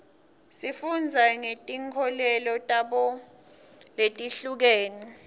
sifunda ngetinkolelo tabo letihlukene